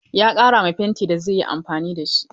Ya ƙara ma fentin da zai yi amfani da shi ruwa.